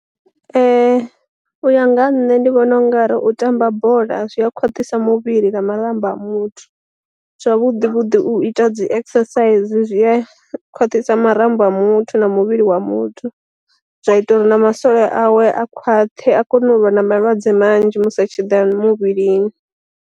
U ya nga ha nṋe ndi vhona ungari u tamba bola zwi a khwaṱhisa muvhili na marambo a muthu, zwavhuḓi vhuḓi u ita dzi exercise zwi a khwaṱhisa marambo a muthu na muvhili wa muthu, zwa ita uri na masole awe a khwaṱhe a kone u vha na malwadze manzhi musi a tshi ḓa muvhilini.